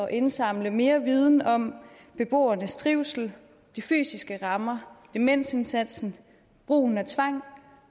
indsamle mere viden om beboernes trivsel de fysiske rammer demensindsatsen brugen af tvang